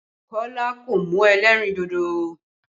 Kọ́lá kò mu ẹlẹ́rìn dodo